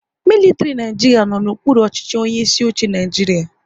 Militiri Naijiria no n'okpuru ọchịchị onye isi oche Naịjiria